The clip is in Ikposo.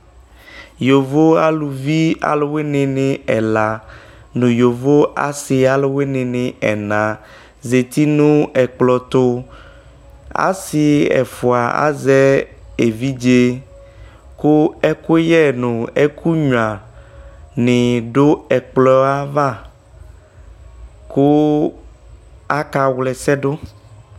Yovo aluwene ne ɛla no yovo aluwene aluvi ɛla zti no ɛkplɔ to Ase ɛfua azɛ evidze ko ɛkuyɛ no ɛkunyua ne do ɛkplɔ ava koo aka wlɛsɛ do